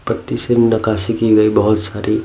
पत्ती से नकाशी की गई बहुत सारी--